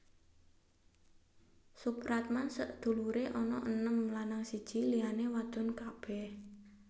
Soepratman sedulure ana enem lanang siji liyane wadon kabeh